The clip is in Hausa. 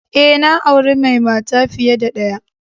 E, na aure mai mata fiye da ɗaya.